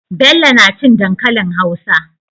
Bello nacin dankalin hausa